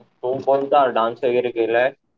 तू कोणता डान्स वगैरे केलाय?